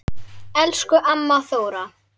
Elsku amma Þóra.